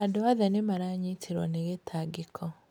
Andũ othe nĩ maanyitirwo nĩ gĩtangĩko.